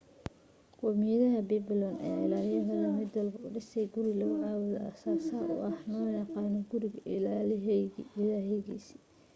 qowmiyaddii babylon ayaa ilaahiyadooda mid walbo u dhisay guri lagu caabudo aasaas u ah oo na loo yaqaano guriga ilaahigaas